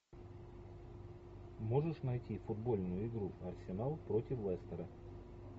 можешь найти футбольную игру арсенал против лестера